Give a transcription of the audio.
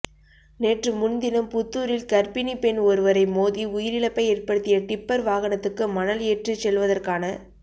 நேற்றுமுன்தினம் புத்தூரில் கர்ப்பிணிப் பெண் ஒருவரை மோதி உயிரிழப்பை ஏற்படுத்திய டிப்பர் வாகனத்துக்கு மணல் ஏற்றிச் செல்வதற்கான